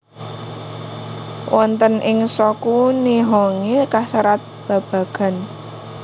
Wonten ing Shoku Nihongi kaserat babagan